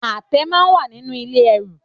Àtẹ náà wà nínú ilé ẹrù.